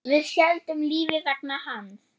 Við héldum lífi vegna hans.